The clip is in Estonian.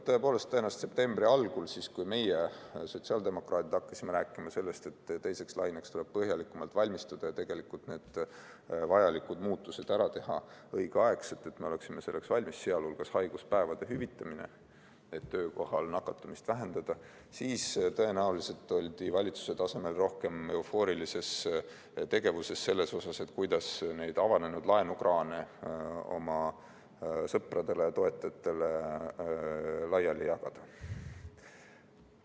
Tõepoolest, tõenäoliselt septembri algul, siis kui meie, sotsiaaldemokraadid, hakkasime rääkima sellest, et teiseks laineks tuleb põhjalikumalt valmistuda ja vajalikud muudatused ära teha õigel ajal, sh haiguspäevade hüvitamine, et töökohal nakatumist vähendada, siis oldi valitsuse tasemel rohkem eufooriliselt tegevuses sellega, kuidas seda avanenud laenukraanidest tulevat raha oma sõpradele ja toetajatele laiali jagada.